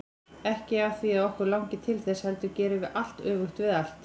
Ekki af því að okkur langi til þess, heldur gerum við allt öfugt við allt.